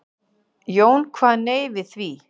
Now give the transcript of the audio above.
Jón kvað nei við því.